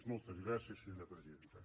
moltes gràcies senyora presidenta